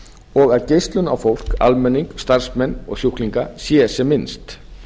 og að geislun á fólk almenning starfsmenn og sjúklinga sé sem minnst